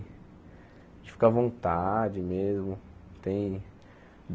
A gente fica à vontade mesmo. Tem